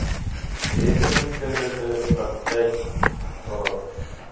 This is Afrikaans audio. rekeningkundige praktyk aarp